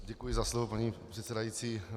Děkuji za slovo, paní předsedající.